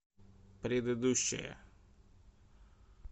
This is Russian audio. предыдущая